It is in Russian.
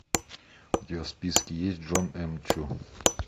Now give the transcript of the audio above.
у тебя в списке есть джон м чу